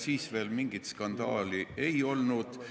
Siis veel mingit skandaali ei olnud.